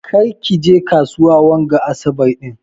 Ƙar ki je kasuwa wanga asaɓar din.